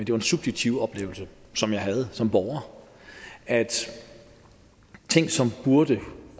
jo en subjektiv oplevelse som jeg havde som borger af at ting som burde